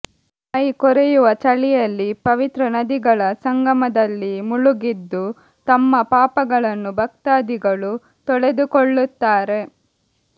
ಮೈ ಕೊರೆಯುವ ಚಳಿಯಲ್ಲಿ ಪವಿತ್ರ ನದಿಗಳ ಸಂಗಮ ದಲ್ಲಿ ಮುಳುಗೆದ್ದು ತಮ್ಮ ಪಾಪಗಳನ್ನು ಭಕ್ತಾದಿಗಳು ತೊಳೆದುಕೊಳ್ಳುತ್ತಾರೆ